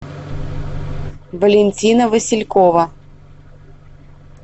валентина василькова